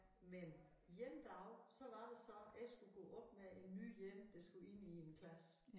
Men én dag så var der så jeg skulle gå op med en ny én der skulle ind i en klasse